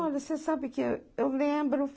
Olha, você sabe que eu eu lembro.